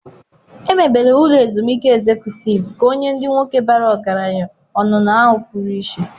Emebere ụlọ ezumike ezekutịv ka ọ nye ndị nwoke bara ọgaranya onuno ahụ pụrụ iche.